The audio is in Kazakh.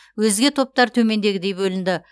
өзге топтар төмендегідей бөлінді